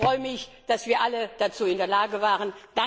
Ich freue mich, dass wir alle dazu in der Lage waren.